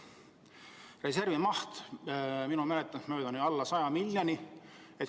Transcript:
Reservi maht on minu mäletamist mööda alla 100 miljoni euro.